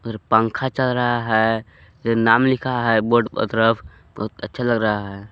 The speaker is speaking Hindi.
पंखा चल रहा है नाम लिखा है बोर्ड पर तरफ बहुत अच्छा लग रहा है।